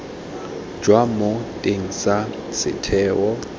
jwa mo teng ga setheo